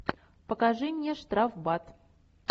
покажи мне штрафбат